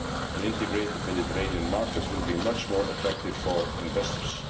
An integrated Mediterranean market will be much more attractive for investors.